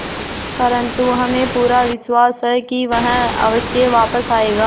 परंतु हमें पूरा विश्वास है कि वह अवश्य वापस आएगा